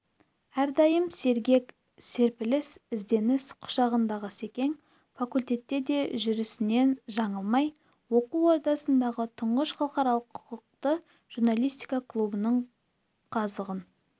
әрдайым сергек серпіліс ізденіс құшағындағы секең факультетте де жүрісінен жаңылмай оқу ордасындағы тұңғыш халықаралық құқықты журналистика клубының қазығын